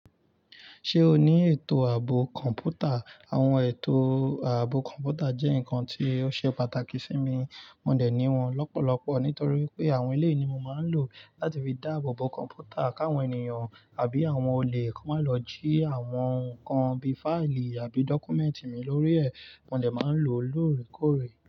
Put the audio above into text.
Ṣé o ní ètò ààbò kọ̀ǹpútà? Àwọn ètò ààbò kọ̀ǹpútà jẹ́ nǹkan tí ó ṣe pàtàkì sí mi, mo lè ní wọn lọ́pọ̀lọpọ̀ nítorí pé àwọn ilé ni mo máa ń lò. Láti fi dáàbò bo kọ̀ǹpútà káwọn ènìyàn àbí àwọn olè kó má lọ jí àwọn nǹkan bíi fáìlì àbí dọ́kúmẹ́ǹtì mi lórí ẹ̀, mo lè máa ń lò ó lóòrèkóòrè.